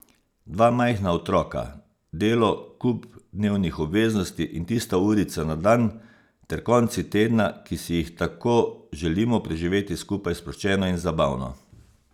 Dva majhna otroka, delo, kup dnevnih obveznosti in tista urica na dan ter konci tedna, ki si jih tako želimo preživeti skupaj sproščeno in zabavno.